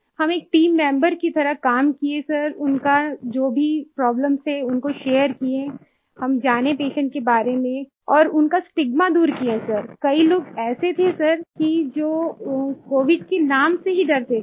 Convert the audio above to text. हम एक team member की तरह काम किये सर उनका जो भी प्रोब्लेम थे उनको शेयर किये हम जाने पेशेंट के बारे में और उनका स्टिग्मा दूर किये सर कई लोग ऐसे थे सर कि जो कोविड के नाम से ही डरते थे